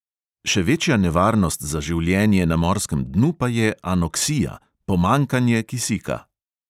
Še večja nevarnost za življenje na morskem dnu pa je anoksija – pomanjkanje kisika.